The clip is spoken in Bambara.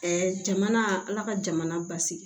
jamana ala ka jamana basigi